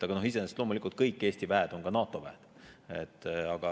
Aga iseenesest on loomulikult kõik Eesti väed ka NATO väed.